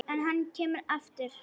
En hann kemur aftur.